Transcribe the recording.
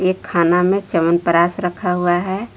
खाना में च्यवनप्राश रखा हुआ है।